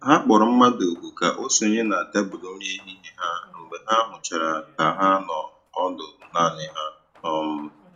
Ha kpọ̀rọ̀ mmadụ́ òkù́ kà o sònyè na tèbụ́lụ́ nri èhìhiè ha mgbe ha hụ̀chàra kà ha nọ̀ ọ́dụ́ naanì ha. um